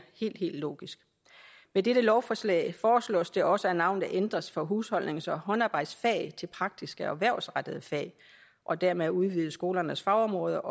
helt helt logisk med dette lovforslag foreslås det også at navnet ændres fra husholdnings og håndarbejdsfag til praktiske og erhvervsrettede fag og dermed udvides skolernes fagområder